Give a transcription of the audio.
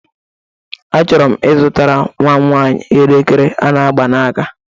Achọrọ m ịzụtara nwam nwaanyị elekere a na-agba n'aka.